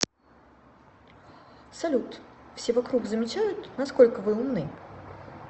салют все вокруг замечают насколько вы умны